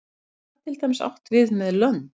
hvað er til dæmis átt við með lönd